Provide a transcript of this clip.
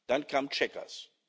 Dann kam Chequers.